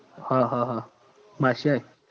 હ હ હ બાદશાહય